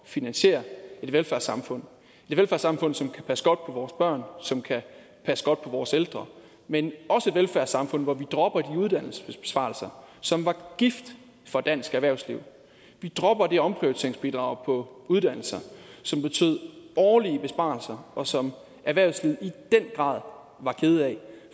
finansiere et velfærdssamfund et velfærdssamfund som kan passe godt og som kan passe godt på vores ældre men også et velfærdssamfund hvor vi dropper de uddannelsesbesparelser som var gift for dansk erhvervsliv vi dropper det omprioriteringsbidrag på uddannelser som betød årlige besparelser og som erhvervslivet i den grad var kede af